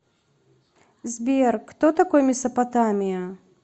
сбер кто такой месопотамия